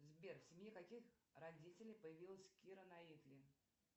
сбер в семье каких родителей появилась кира найтли